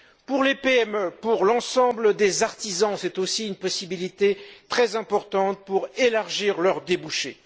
Pour les PME, pour l'ensemble des artisans, c'est aussi une possibilité très importante d'élargir leurs débouchés.